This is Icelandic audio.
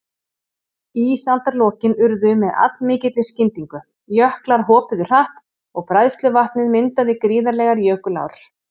Ísaldarlokin urðu með allmikilli skyndingu, jöklar hopuðu hratt og bræðsluvatnið myndaði gríðarlegar jökulár.